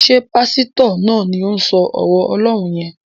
Ṣé Pásítọ̀ náà ni òun sọ ọ̀rọ̀ Ọlọ́run yẹn?